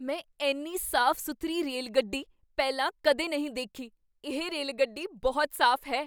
ਮੈਂ ਇੰਨੀ ਸਾਫ਼ ਸੁਥਰੀ ਰੇਲਗੱਡੀ ਪਹਿਲਾਂ ਕਦੇ ਨਹੀਂ ਦੇਖੀ! ਇਹ ਰੇਲਗੱਡੀ ਬਹੁਤ ਸਾਫ਼ ਹੈ!